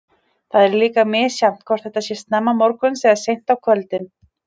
Það er líka misjafnt hvort þetta sé snemma morguns eða seint á kvöldin.